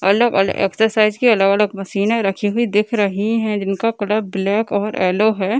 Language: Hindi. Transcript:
अलग-अलग एक्सरसाइज की अलग-अलग मशीने रखी हुई दिख रही है जिनका कलर ब्लैक और येलो है।